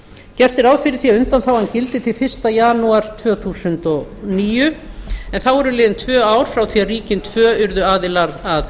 gert er ráð fyrir því að undanþágan gildi til fyrsta janúar tvö þúsund og níu en þá eru liðin tvö ár frá því ríkin tvö urðu aðilar að